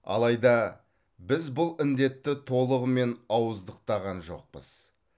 алайда біз бұл індетті толығымен ауыздықтаған жоқпыз